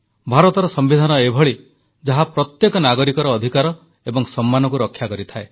ଭାରତର ସମ୍ବିଧାନ ଏଭଳି ଯାହା ପ୍ରତ୍ୟେକ ନାଗରିକର ଅଧିକାର ଏବଂ ସମ୍ମାନକୁ ରକ୍ଷା କରିଥାଏ